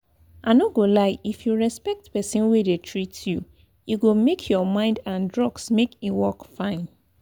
i no go lie if you respect person wey dey treat you e go make your mind and drugs make e work fine.